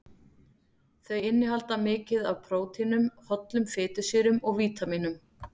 Þau innihalda mikið af prótínum, hollum fitusýrum og vítamínum.